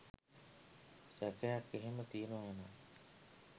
සැකයක් එහෙම තියෙනව නම්